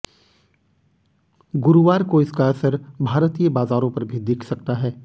गुरुवार को इसका असर भारतीय बाजारों पर भी दिख सकता है